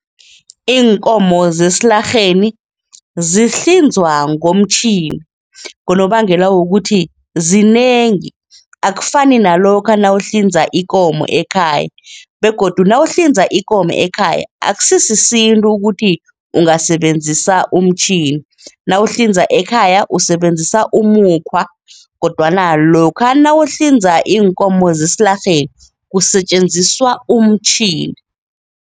Iinkomo zesilarheni zihlinzwa ngomtjhini ngonobangela wokuthi zinengi, akufani nalokha nawuhlinza ikomo ekhaya begodu nawuhlinza ikomo ekhaya akusisisintu ukuthi ungasebenzisa umtjhini. Nawuhlinza ekhaya, usebenzisa umukhwa kodwana lokha nawuhlinza iinkomo zesilarheni, kusetjenziswa umtjhini.